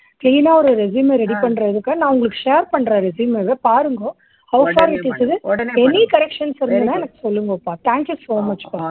clean னா ஒரு resume மை ready பண்றேன் நான் share பண்றேன் உங்களுக்கு resume பாருங்கோ. உடனே பாரக்கறேன். any corrections தெறிஞ்சுதுன்னா எனக்கு சொல்லுங்கோப்பா. thank you so much ப்பா.